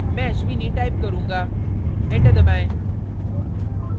मैं ashwini type करुँगा enter दबाएं